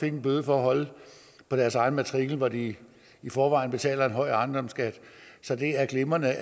en bøde for at holde på deres egen matrikel hvor de i forvejen betaler en høj ejendomsskat så det er glimrende